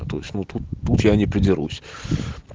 то есть тут я не придирусь